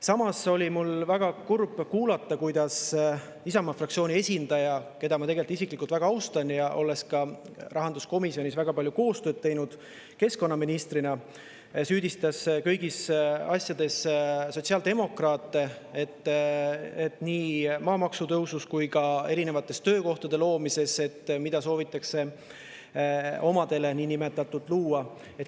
Samas oli mul väga kurb kuulata, kuidas Isamaa fraktsiooni esindaja, keda ma tegelikult isiklikult väga austan, olles keskkonnaministrina ka rahanduskomisjonis temaga väga palju koostööd teinud, süüdistas kõigis asjades sotsiaaldemokraate, nii maamaksu tõusus kui ka erinevate töökohtade loomises, mida justkui soovitakse omadele luua.